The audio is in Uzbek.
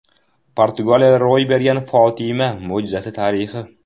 Portugaliyada ro‘y bergan Fotima mo‘jizasi tarixi.